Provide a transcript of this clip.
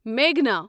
میگھنا